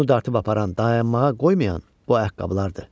Onu dartıb aparan, dayanmağa qoymayan o ayaqqabılardır.